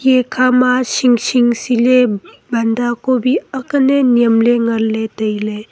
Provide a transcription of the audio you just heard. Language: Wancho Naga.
ekhama shing shing se ley banda kobi ang lan ley nem ley tai ley.